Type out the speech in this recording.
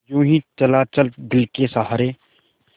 यूँ ही चला चल दिल के सहारे